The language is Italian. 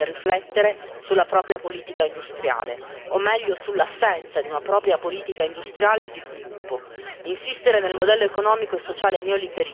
Noi crediamo che l'Unione europea debba seriamente riflettere sulla propria politica industriale, o meglio sull'assenza di una propria politica industriale e di sviluppo.